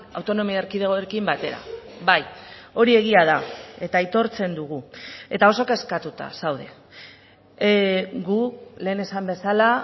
autonomia erkidegoekin batera bai hori egia da eta aitortzen dugu eta oso kezkatuta zaude gu lehen esan bezala